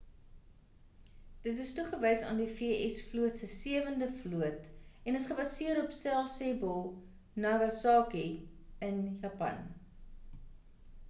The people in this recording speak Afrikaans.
dit is toegewys aan die v.s. vloot se sewende vloot en is gebaseer in sasebo nagasaki in japan